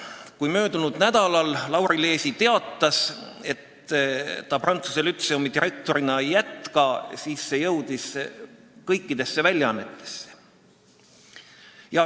Kui möödunud nädalal Lauri Leesi teatas, et ta Tallinna Prantsuse Lütseumi direktorina ei jätka, siis see jõudis kõikidesse väljaannetesse.